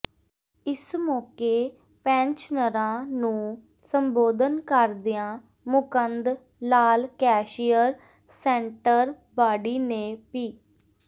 ਇਸ ਮੌਕੇ ਪੈਨਸ਼ਨਰਾਂ ਨੂੰ ਸੰਬੋਧਨ ਕਰਦਿਆਂ Mukand Lal cashier centre body ਨੇ ਪ